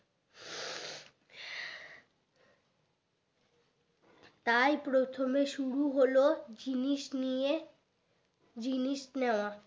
তাই প্রথমে শুরু হলো জিনিস নিয়ে জিনিস নেয়াও